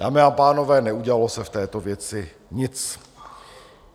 Dámy a pánové, neudělalo se v této věci nic.